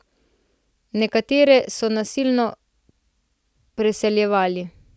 Nekatere so nasilno preseljevali.